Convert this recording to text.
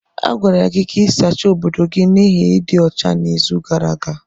A gwara gị ka ị sachaa obodo gị n'ihi ịdị ọcha n'izu gara aga.